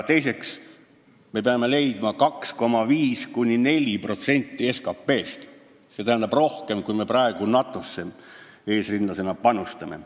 Teiseks, me peame leidma 2,5%–4% SKT-st, st rohkem, kui me praegu eesrindlasena NATO-sse panustame.